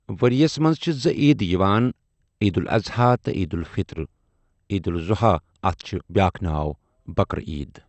ؤرۍ یَس منٛز چھِ زٕ عیٖدٕ یِوان عیٖدالضحیٰ تہٕ عیٖدالفطر عیٖدالضحیٰ اَتھ چھُ بیٛاکھ ناو بکرا عیٖد۔